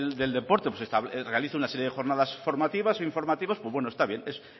del deporte realiza una serie de jornadas formativas o informativas pues bueno está bien es